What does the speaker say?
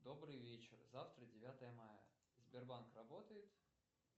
добрый вечер завтра девятое мая сбербанк работает